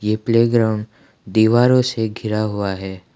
ये play ground दीवारों से घिरा हुआ है।